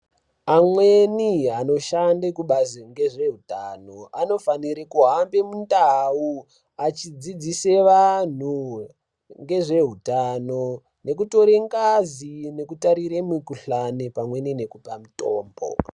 Amweni anoshanda kubazi rezvehutano anofanira kuhambe mundau achidzidzisa antu ngezvehutano nekutora ngazi nekutarira mikuhlani pamweni nekupa mitombo.